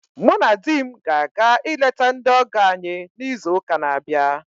Mụ na di m ga-aga ileta ndị ọgọ anyị n'izu ụka na abịa